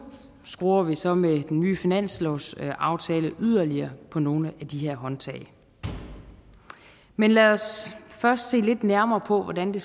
skruer vi så med den nye finanslovsaftale yderligere på nogle af de her håndtag men lad os først se lidt nærmere på hvordan det